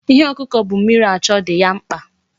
Ihe ọkụkọ bu mmiri achọ dị ya mkpa.